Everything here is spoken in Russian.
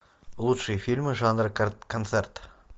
лучшие фильмы жанра концерт